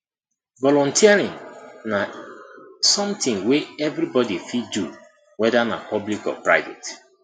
volunteering na something wey everybody fit do whether na public or private